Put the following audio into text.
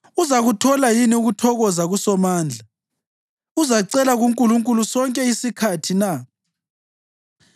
Uzakuthola yini ukuthokoza kuSomandla? Uzacela kuNkulunkulu sonke isikhathi na?